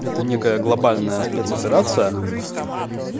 это некая глобальная спецоперация